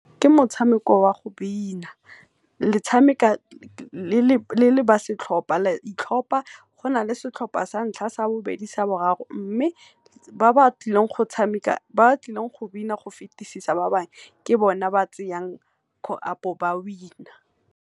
Ke motshameko oa go bina, le tshameka le le ba setlhopa la itlhopa, go na le setlhopa santlha, sa bobedi, sa boraro mme ba ba tlileng go tshameka ba tlileng go bina go fetisisa ba bangwe ke bone ba tseyang ba win-a.